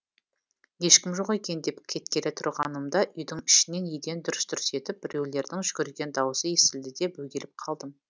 ешкім жоқ екен деп кеткелі тұрғанымда үйдің ішінен еден дүрс дүрс етіп біреулердің жүгірген даусы естілді де бөгеліп қалдым